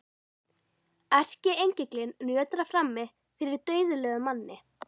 Erkiengillinn nötrar frammi fyrir dauðlegum manni.